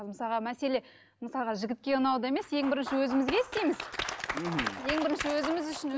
мысалға мәселе мысалға жігітке ұнауда емес ең бірінші өзімізге істейміз ең бірінші өзіміз үшін